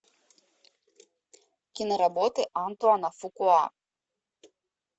киноработы антуана фукуа